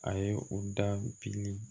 A ye u da bili